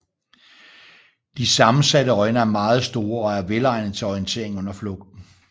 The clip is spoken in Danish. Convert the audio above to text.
De sammensatte øjne er meget store og er velegnede til orientering under flugten